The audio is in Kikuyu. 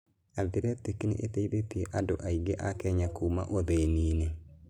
Athletic nĩ ĩteithĩtie andũ aingĩ a Kenya kuuma ũthĩni-inĩ.